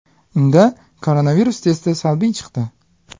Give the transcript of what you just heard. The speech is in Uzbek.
Unda koronavirus testi salbiy chiqdi.